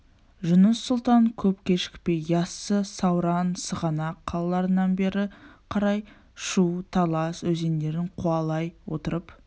жұныс сұлтан көп кешікпей яссы сауран сығанақ қалаларынан бері қарай шу талас өзендерін қуалай отырып